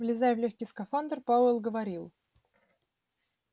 влезая в лёгкий скафандр пауэлл говорил